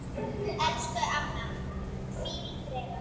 Elsku amma, hvíl í friði.